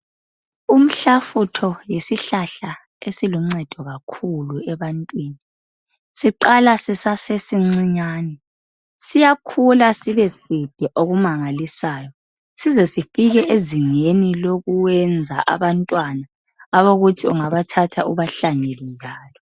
Umhlafutho yisihlahla esiluncedo kakhulu ebantwini, siqala sisase sincinyane siyakhula sibe side okumangalisayo size sifike ezingeni lokwenza abantwana abokuthi ungabathatha ubahlanyele njalo.